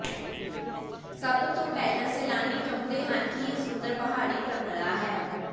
ਸਭ ਤੋਂ ਪਹਿਲਾਂ ਸੈਲਾਨੀ ਚਾਹੁੰਦੇ ਹਨ ਕਿ ਇਹ ਸੁੰਦਰ ਪਹਾੜੀ ਪਰੰਪਰਾ ਹੈ